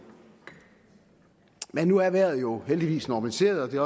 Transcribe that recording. men nu er vejret jo heldigvis normaliseret og det